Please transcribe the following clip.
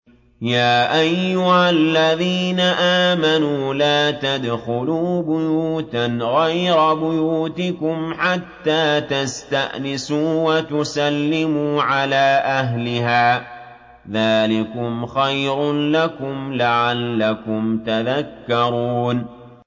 يَا أَيُّهَا الَّذِينَ آمَنُوا لَا تَدْخُلُوا بُيُوتًا غَيْرَ بُيُوتِكُمْ حَتَّىٰ تَسْتَأْنِسُوا وَتُسَلِّمُوا عَلَىٰ أَهْلِهَا ۚ ذَٰلِكُمْ خَيْرٌ لَّكُمْ لَعَلَّكُمْ تَذَكَّرُونَ